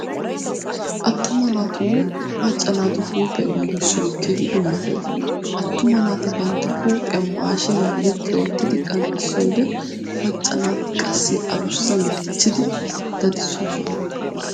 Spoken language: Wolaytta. Attuma naatunne macca naatu huuphiya giigissoy keehi dummatees. Attuma naati bantta huuphiya maashiiniyaani ziqqi oottidi qanxxissiyode macca naati qassi adussn dichchidi dadissoosona.